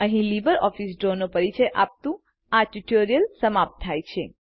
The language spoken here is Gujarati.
અહીં લીબરઓફીસ ડ્રોનો પરિચય આપતું આ ટ્યુટોરીઅલ સમાપ્ત થાય છે